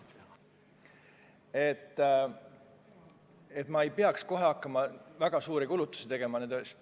Kohe alguses ei peaks hakkama väga suuri kulutusi tegema.